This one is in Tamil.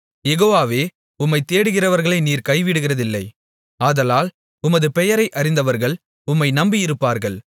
யெகோவாவே உம்மைத் தேடுகிறவர்களை நீர் கைவிடுகிறதில்லை ஆதலால் உமது பெயரை அறிந்தவர்கள் உம்மை நம்பி இருப்பார்கள்